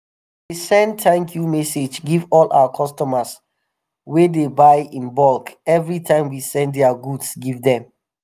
we dey send thank you message give all our customers wey dey buy in bulk evri time we send dia goods give dem.